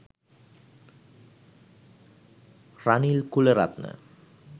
ranil kularatne